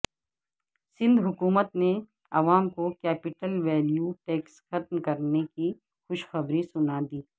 سندھ حکومت نے عوام کو کیپٹل ویلیو ٹیکس ختم کرنے کی خوشخبری سنا دی